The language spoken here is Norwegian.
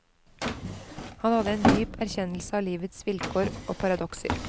Han hadde en dyp erkjennelse av livets vilkår og paradokser.